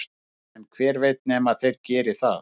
en hver veit nema þeir geri það